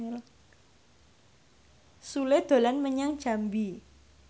Sule dolan menyang Jambi